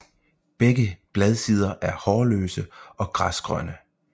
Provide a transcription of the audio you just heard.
Begge bladsider er hårløse og græsgrønne